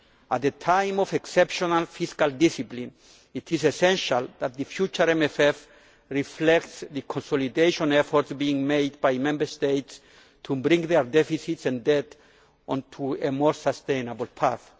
At a time of exceptional fiscal discipline it is essential that the future MFF reflects the consolidation efforts being made by Member States to bring their deficits and debt onto a more sustainable path.